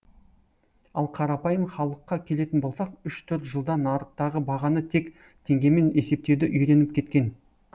ал қарапайым халыққа келетін болсақ үш төрт жылда нарықтағы бағаны тек теңгемен есептеуді үйреніп кеткен